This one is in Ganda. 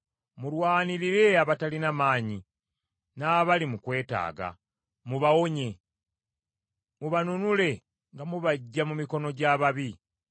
Mulwanirire abatalina maanyi n’abali mu kwetaaga, mubawonye; mubanunule nga mubaggya mu mikono gy’ababi.